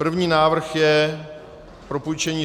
První návrh je propůjčení